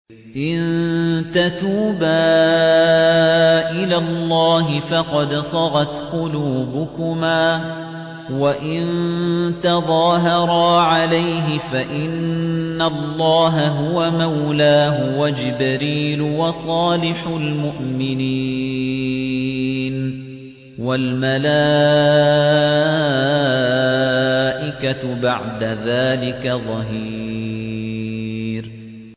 إِن تَتُوبَا إِلَى اللَّهِ فَقَدْ صَغَتْ قُلُوبُكُمَا ۖ وَإِن تَظَاهَرَا عَلَيْهِ فَإِنَّ اللَّهَ هُوَ مَوْلَاهُ وَجِبْرِيلُ وَصَالِحُ الْمُؤْمِنِينَ ۖ وَالْمَلَائِكَةُ بَعْدَ ذَٰلِكَ ظَهِيرٌ